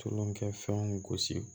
Tulonkɛfɛnw gosi